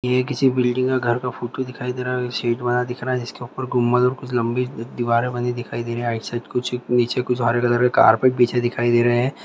ये किसी बिल्डिंग के घर का फोटो दिखाई दे रहा है शीट बना दिख रहा है जिसके ऊपर गुमल कुछ लम्बी दीवारें बनी दिखाई दे रही है आइड साइड कुछ नीचे कुछ हरे कलर कारपेट बिछे दिखाई दे रहे है।